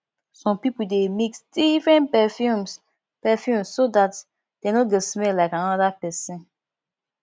some pipo de mix different perfumes perfumes so that dem no go smell like another person